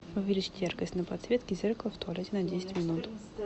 увеличить яркость на подсветке зеркала в туалете на десять минут